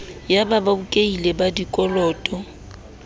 ya babokelli ba dikoloto ba